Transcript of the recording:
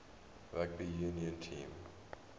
rugby union team